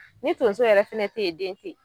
Ni tonso yɛrɛ fɛnɛ tɛ yen den tɛ yen